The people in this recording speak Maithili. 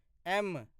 एम